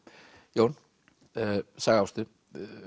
Jón Saga Ástu